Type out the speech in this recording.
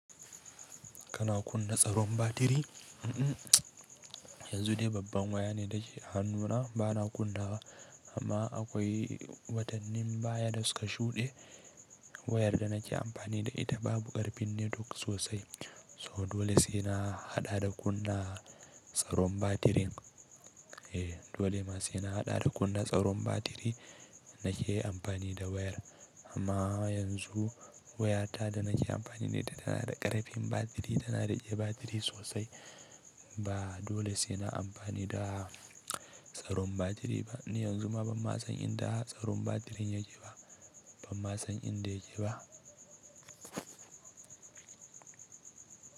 Kana kunna tsaron batiri? Mm-mm, yanzu dai babban waya ne ta ke a hannuna bana kunnawa, amma akwai watannin baya da suka shuɗe wayar da nake amfani da ita babu ƙarfin netwok sosai. So dole sai na haɗa da kunna tsaron batirin. Eh, dole ma sai na haɗa da kunna tsaron batiri nake amfani da wayar. Amma yanzu wayata da nake amfani da ita tana da ƙarfin batiri, tana da rike batiri sosai. Ba dole sai na amfani da tsaron batiri ba. Ni yanzu ma ban ma san inda tsaron batirin yake ba, ban ma san inda yake ba.